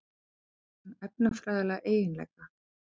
Dæmi um efnafræðilega eiginleika.